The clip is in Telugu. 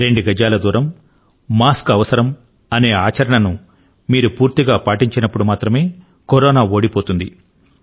రెండు గజాల దూరం మాస్క్ అవసరం అనే సంకల్పాన్ని మీరు పూర్తిగా పాటించినప్పుడు మాత్రమే కరోనా ఓడిపోతుంది